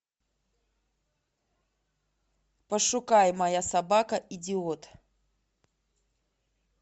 пошукай моя собака идиот